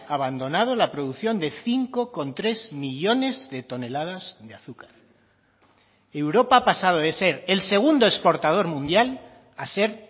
abandonado la producción de cinco coma tres millónes de toneladas de azúcar europa ha pasado de ser el segundo exportador mundial a ser